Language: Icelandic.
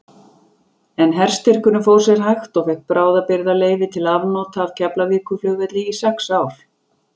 En herstyrkurinn fór sér hægt og fékk bráðabirgðaleyfi til afnota af Keflavíkurflugvelli í sex ár.